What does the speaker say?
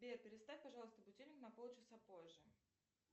сбер переставь пожалуйста будильник на полчаса позже